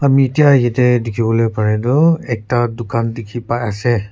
yete tiki volae bare tho ekta tucan tiki bai ase.